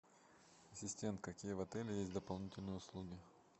ассистент какие в отеле есть дополнительные услуги